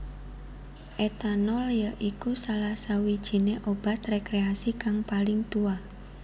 Etanol ya iku salah sawijiné obat rekreasi kang paling tuwa